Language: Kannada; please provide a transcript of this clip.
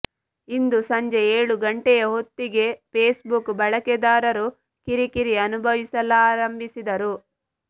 ಇಂದು ಸಂಜೆ ಏಳು ಗಂಟೆಯ ಹೊತ್ತಿಗೆ ಫೇಸ್ಬುಕ್ ಬಳಕೆದಾರರು ಕಿರಿಕಿರಿ ಅನುಭವಿಸಲಾರಂಭಿಸಿದ್ದರು